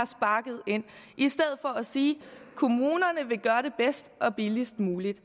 sparket ind i stedet for at sige kommunerne vil gøre det bedst og billigst muligt